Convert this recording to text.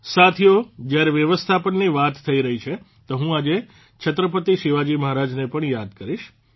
સાથીઓ જયારે વ્યવસ્થાપનની વાત થઇ રહી છે તો હું આજે છત્રપતિ શિવાજી મહારાજને પણ યાદ કરીશ